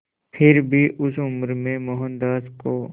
फिर भी उस उम्र में मोहनदास को